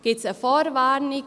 Gibt es eine Vorwarnung?